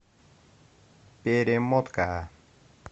перемотка